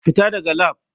Fita daga lab.